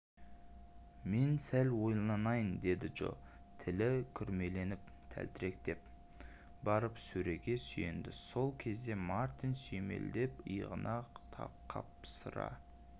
мен сәл ойланайын деді джо тілі күрмеліптәлтіректеп барып сөреге сүйенді сол кезде мартин сүйемелдеп иығынан қапсыра